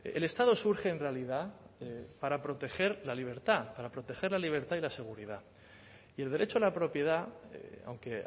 el estado surge en realidad para proteger la libertad para proteger la libertad y la seguridad y el derecho a la propiedad aunque